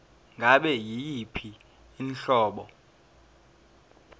ngabe yiyiphi inhlobo